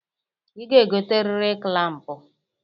I ga-egoteriri klampụ.